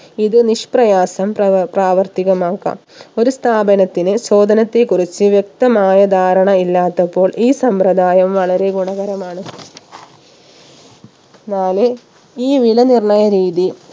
ഇത് നിഷ്പ്രയാസം പ്രവർ പ്രാവർത്തികമാക്കാം ഒരു സ്ഥാപനത്തിന് ചോദനത്തെ കുറിച്ച് വ്യക്തമായ ധാരണ ഇല്ലാത്തപ്പോൾ ഈ സമ്പ്രദായം വളരെ ഗുണകരമാണ് നാല് ഈ വില നിർണയ രീതി